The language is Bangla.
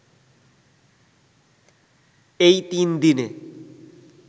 এই তিনদিনে